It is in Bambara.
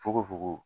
Fukofoko